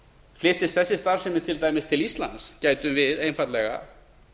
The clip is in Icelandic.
flyttist þessi starfsemi til dæmis til íslands gætum við einfaldlega